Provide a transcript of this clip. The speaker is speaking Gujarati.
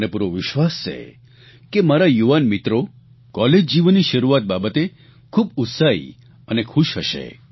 મને પૂરો વિશ્વાસ છે કે મારા યુવાન મિત્રો કોલેજ જીવનની શરૂઆત બાબતે ખૂબ ઉત્સાહી અને ખુશ હશે